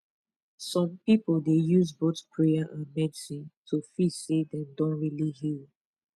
some people dey use both prayer and medicine to feel say dem don really heal